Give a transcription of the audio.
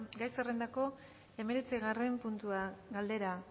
gai zerrendako hemeretzigarren puntua galdera